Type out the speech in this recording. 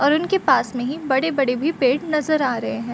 और उनके पास मे ही बड़े-बड़े भी पेड़ नजर आ रहे हैं |